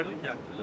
Xankəndli.